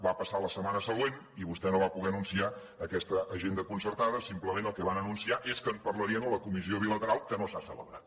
va passar la setmana següent i vostè no va poder anunciar aquesta agenda concertada simplement el que van anunciar és que en parlarien a la comissió bilateral que no s’ha celebrat